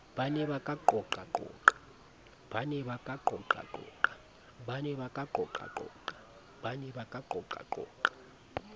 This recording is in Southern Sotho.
ba ne ba ka qoqaqoqa